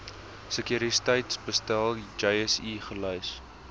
sekuriteitebeurs jse gelys